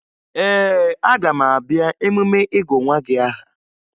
Ee, aga m abịa emume ịgụ nwa gị aha